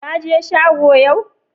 Ka je shego yau?